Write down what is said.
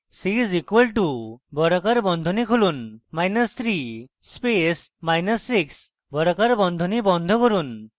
c is equal to বর্গাকার বন্ধনী খুলুন মাইনাস 3 space মাইনাস 6 বর্গাকার বন্ধনী বন্ধ করুন